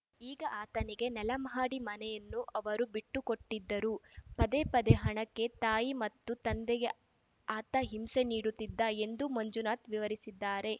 ಆಗ ಆತನಿಗೆ ನೆಲಮಹಡಿ ಮನೆಯನ್ನು ಅವರು ಬಿಟ್ಟುಕೊಟ್ಟಿದ್ದರು ಪದೇ ಪದೇ ಹಣಕ್ಕೆ ತಾಯಿ ಮತ್ತು ತಂದೆಗೆ ಆತ ಹಿಂಸೆ ನೀಡುತ್ತಿದ್ದ ಎಂದು ಮಂಜುನಾಥ್‌ ವಿವರಿಸಿದ್ದಾರೆ